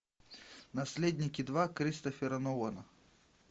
наследники два кристофера нолана